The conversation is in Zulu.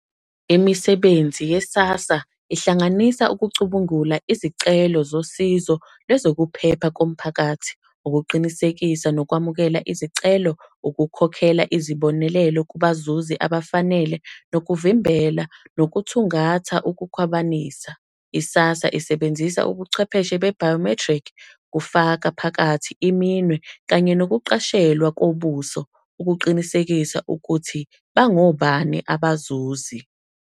Imisebenzi ye-SASSA ihlanganisa ukucubungula izicelo zosizo lwezokuphepha komphakathi, ukuqinisekisa nokwamukela izicelo, ukukhokhela nokukhokhela izibonelelo kubazuzi abafanele, nokuvimbela nokuthungatha Ukukhwabanisa. I-SASSA isebenzisa ubuchwepheshe be-biometric, kufaka phakathi iminwe kanye nokuqashelwa kobuso, ukuqinisekisa ukuthi bangobani abazuzi.